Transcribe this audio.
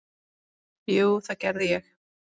Jú, það gerði ég.